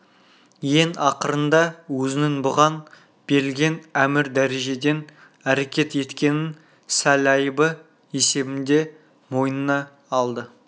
ең ақырында өзінің бұған берілген әмір дәрежеден әрекет еткенін сәл айыбы есебінде мойнына алды